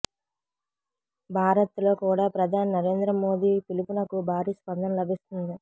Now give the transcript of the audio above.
భారత్లో కూడా ప్రధాని నరేంద్ర మోదీ పిలుపునకు భారీ స్పందన లభిస్తుంది